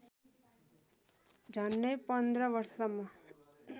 झन्नै पन्ध्र वर्षसम्म